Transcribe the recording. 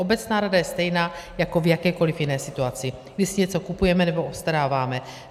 Obecná rada je stejná jako v jakékoliv jiné situaci, když si něco kupujeme nebo obstaráváme.